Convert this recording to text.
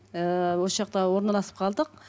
ыыы осы жақта орналасып қалдық